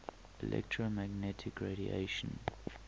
electromagnetic radiation